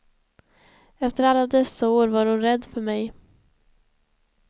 Efter alla dessa år var hon rädd för mig.